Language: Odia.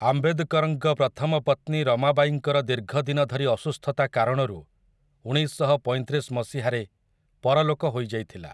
ଆମ୍ବେଦକରଙ୍କ ପ୍ରଥମ ପତ୍ନୀ ରମାବାଈଙ୍କର ଦୀର୍ଘ ଦିନ ଧରି ଅସୁସ୍ଥତା କାରଣରୁ ଉଣେଇଶଶହପଇଁତିରିଶ ମସିହାରେ ପରଲୋକ ହୋଇଯାଇଥିଲା ।